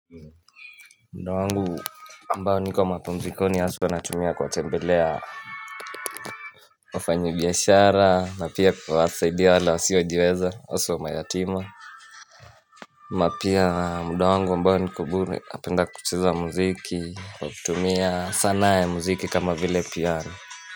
Muda wangu mbao niko mapumzikoni aswa anatumia kuwatembelea wafanyi biashara na pia kuwasaidia wale wasiojiweza haswa mayatima na pia muda wangu mbao nikobure napenda kucheza muziki kwa kutumia sanaa ya muziki kama vile piano.